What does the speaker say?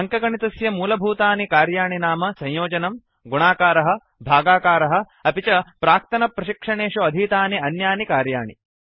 अङ्कगणितस्य मूलभूतानि कार्याणि नाम संयोजनम् सुं गुणाकारः प्रोडक्ट भागाकारः क्वोटिएंट अपि च प्राक्तन प्रशिक्षणेषु अधीतानि अन्यानि कार्याणि